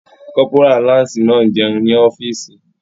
Kọ́pórà láǹsì náà n jẹun ní ọ́fìsì